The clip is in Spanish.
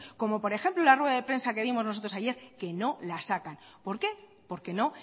como por ejemplo la rueda de prensa que dimos nosotros ayer que no la sacan por qué porque no